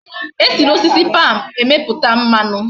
E si na osisi palm meputa mmanu